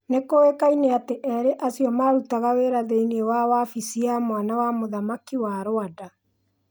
Nĩkũĩkaine atĩ erĩ acio marutaga wĩra thĩiniĩ wa wafisi ya mwana wa mũthamaki wa Rwanda.